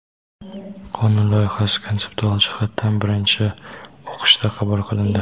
qonun loyihasi konseptual jihatdan birinchi o‘qishda qabul qilindi.